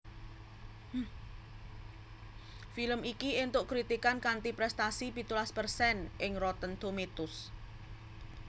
Film iki entuk kritikan kanthi prestasi pitulas persen ing Rotten Tomatoes